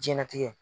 Jiyɛn latigɛ